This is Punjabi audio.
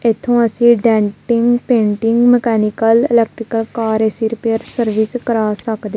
ਇਥੋਂ ਅਸੀਂ denting painting mechanical electrical car AC repair service ਕਰਾ ਸਕਦੇ।